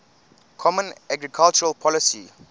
common agricultural policy